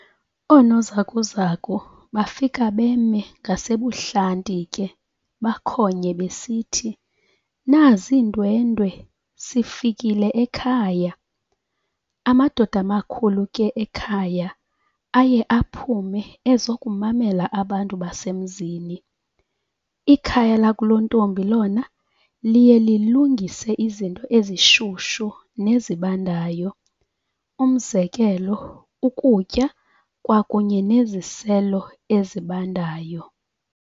Oonozakuzaku bafike beme ngasebuhlanti ke bakhonye besithi "nazi iindwendwe - sifikile ekhaya" amadoda amakhulu ke ekhaya aye aphume ezokumamela abantu basemzini, ikhaya lakulontombi lona liye lilungise izinto ezishushu nezibandayo, umzekelo ukutya kwakunye neziselo ezimbandayo.